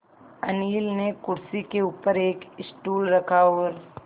अनिल ने कुर्सी के ऊपर एक स्टूल रखा और